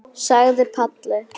sagði Palli.